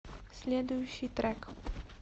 следующий трек